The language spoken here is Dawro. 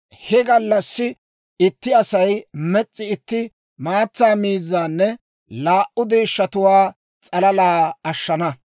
He gallassi itti Asay mes's'i itti maatsa miizzanne laa"u deeshshatuwaa s'alalaa ashshana.